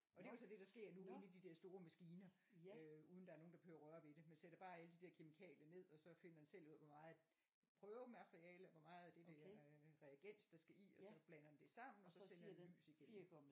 Og det er jo så det der sker nu inde i de der store maskiner øh uden der er nogen der behøver røre ved det man sætter bare alle de der kemikalier ned og så finder den selv ud af hvor meget prøvemateriale hvor meget af det der reagens der skal i og så blander den det sammen og så sender den lys igennem